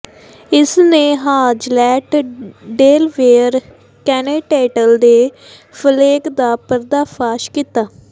ਇਸਨੇ Hazlett Delaware continental ਦੇ ਫਲੇਕ ਦਾ ਪਰਦਾਫਾਸ਼ ਕੀਤਾ